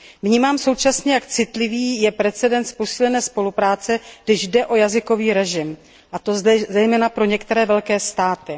Vnímám současně, jak citlivý je precedens posílené spolupráce, když jde o jazykový režim, a to zejména pro některé velké státy.